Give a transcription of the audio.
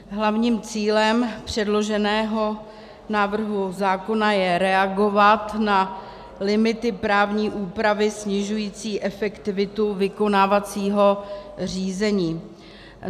Hlavním cílem předloženého návrhu zákona je reagovat na limity právní úpravy snižující efektivitu vykonávacího řízení.